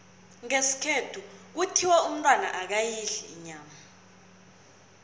ngesikhethu kuthiwa umntwana akayidli inyama